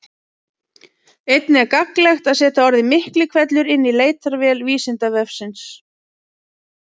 Einnig er gagnlegt að setja orðið Miklihvellur inn í leitarvél Vísindavefsins.